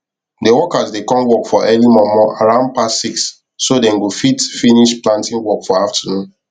the workers dey come work for early momo around past 6 so dem go fit finish planting work for afternoon